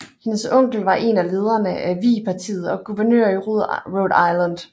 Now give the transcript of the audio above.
Hendes onkel var en af lederne af Whig Partiet og guvernør i Rhode Island